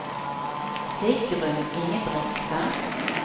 Sigrun Ingebrigtsen